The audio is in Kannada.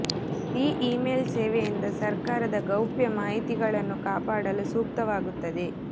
ಈ ಈ ಮೇಲ್ ಸೇವೆಯಿಂದ ಸರ್ಕಾರದ ಗೌಪ್ಯ ಮಾಹಿತಿಗಳನ್ನು ಕಾಪಾಡಲು ಸೂಕ್ತವಾಗುತ್ತದೆ